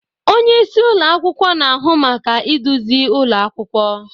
Onye isi ụlọ akwụkwọ na-ahụ maka iduzi ụlọ akwụkwọ.